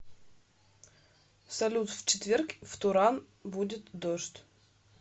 салют в четверг в туран будет дождь